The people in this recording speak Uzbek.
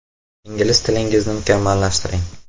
Ingliz tilingizni mukammallashtiring.